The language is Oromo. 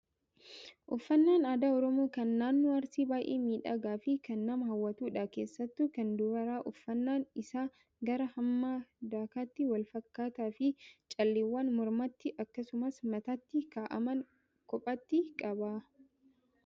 Uffannaan aadaa oromoo kan naannoo Arsii baay'ee miidhagaa fi kana nama hawwatudha. Keessattuu kan dubaraa uffannaan isaa gaaraa hamma dakaatti wal fakkaataa fi calleewwan mormatti akkasumas mataatti kaa'aman kophaatti qaba.